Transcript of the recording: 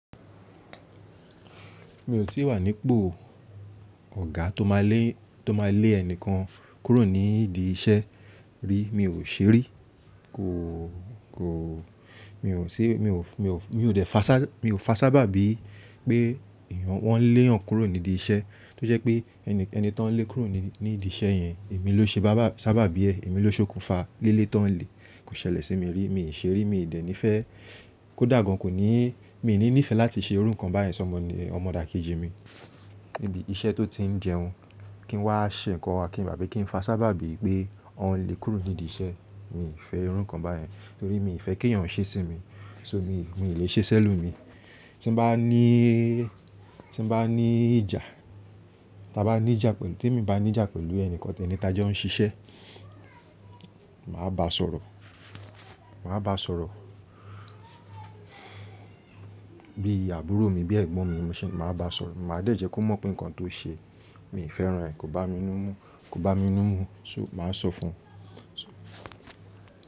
Mi ò tí wà nípò ọ̀gá tó máa lé, tó máa lé ẹnìkan kúrò nídi iṣẹ́ rí. Mi ò ṣe rí. Kò, kò, mi ò ṣe, mi ò, mi ò, mi ò dè fá sábà, mi ò fà sábà bí i pé ìyẹn wọ́n lé wọn kúrò nídìí iṣẹ́. Tí ó jẹ́ pé ẹni, ẹni tó ń lé kúrò ní, nídi iṣẹ́ yẹn èmi ló ṣe bá sábàbí ẹ. Èmi ló ṣokùnfà lile tó ń le. Kò ṣẹlẹ̀ sí mi rí. Mi ò ṣe rí. Mi ò dẹ̀ ní ìfẹ́. Kódà gan kò ní, mi ò ní ìfẹ́ láti ṣe orúkàn báyìí sọ ọmọ, ọmọdà kejì mi níbi iṣẹ́ tó ti ń jẹun. Kí n wá ṣe nǹkan, kí n gbàgbé, kí n fà ṣábà bí i pé wọ́n lé e kúrò nídìí iṣẹ́. Mi ò fẹ́ orúkàn báyìí nítorí mi ò fẹ́ kí èèyàn ṣẹ́ sí mi. So mi, mi ò lè ṣe si ẹlomi. Tí n bá ní, tí n bá ní ìjà, tí a bá ní ìjà pẹ̀lú, tí èmi bá ní ìjà pẹ̀lú ẹni kankan tí ẹni tájẹ́ ń ṣiṣẹ́, màá bá a sọ̀rọ̀. Màá bá a sọ̀rọ̀ bí àbúrò mi, bí ẹ̀gbọ́n mi. Mo ṣè, màá bá a sọ̀rọ̀. Màá dẹ̀jẹ́ kó mọ̀ pé nǹkan tó ṣe mi ò fẹ́ran rẹ̀ kò bá mi ní mú, kò bá mi ní mú. So màá sọ fún un.